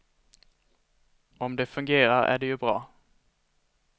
Om det fungerar är det ju bra.